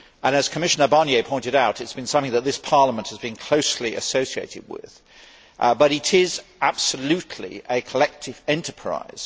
As Commissioner Barnier pointed out, it has been something that this Parliament has been closely associated with, but it is absolutely a collective enterprise.